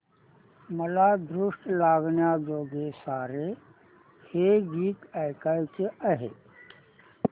मला दृष्ट लागण्याजोगे सारे हे गीत ऐकायचे आहे